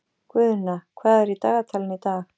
Guðna, hvað er í dagatalinu í dag?